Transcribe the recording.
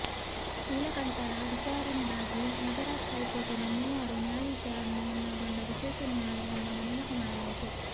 ನೀಲಕಂಠರ ವಿಚಾರಣೆಗಾಗಿ ಮದರಾಸ್ ಹೈಕೋರ್ಟಿನ ಮೂವರು ನ್ಯಾಯಾಧೀಶರನ್ನೊಳಗೊಂಡ ವಿಶೇಷ ನ್ಯಾಯಾಲಯವೊಂದನ್ನು ನೇಮಕ ಮಾಡಲಾಯಿತು